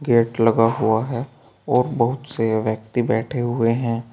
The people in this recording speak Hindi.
गेट लगा हुआ है और बहुत से व्यक्ति बैठे हुए हैं।